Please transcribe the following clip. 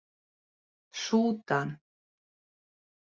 Súdan